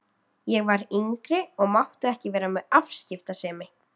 Ég var yngri og mátti ekki vera með afskiptasemi.